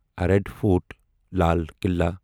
red fort Lal Kala